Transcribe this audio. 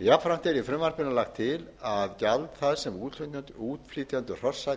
jafnframt er í frumvarpinu lagt til að gjald það sem útflytjendur hrossa greiði